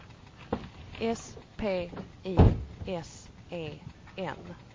S P I S E N